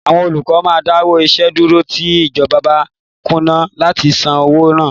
Àwọn olùkọ́ máa dáwọ́ iṣẹ́ dúró tí ìjọba bá kùnà láti san owóo wọn.